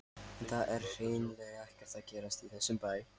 En það er hreinlega ekkert að gerast í þessum bæ.